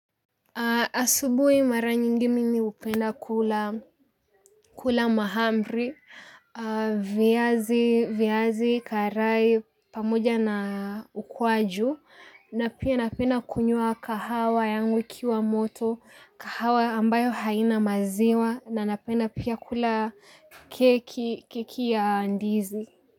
Asubuhi mara nyingi mimi hupenda kula mahamri, viazi karai pamoja na ukwaju na pia napenda kunywa kahawa yangu ikiwa moto, kahawa ambayo haina maziwa na napenda pia kula keki ya ndizi.